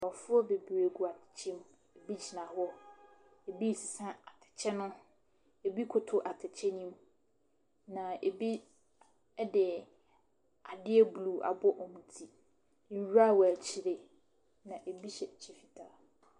Nkorɔfoɔ bebree gu atɛkyɛ mu, ebi gyina hɔ, ebi sesa atɛkyɛ no, ebi koto atɛkyɛ no mu. Na ebi ɛde adeɛ bluu abɔ ɔmo ti. Nwura wɔ akyire na ebi hyɛ ɛkyɛ fitaa.